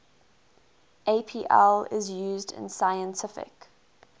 apl is used in scientific